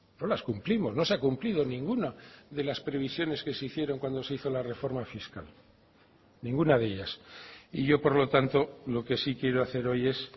no las cumplimos no se ha cumplido ninguna de las previsiones que se hicieron cuando se hizo la reforma fiscal ninguna de ellas y yo por lo tanto lo que sí quiero hacer hoy es